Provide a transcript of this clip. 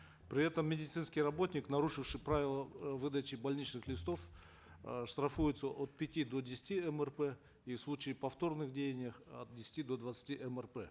при этом медицинский работник нарушивший правило э выдачи больничных листов э штрафуется от пяти до десяти мрп и в случае повторных деяний от десяти до двадцати мрп